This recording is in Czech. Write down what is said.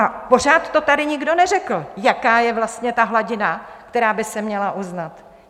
A pořád to tady nikdo neřekl, jaká je vlastně ta hladina, která by se měla uznat.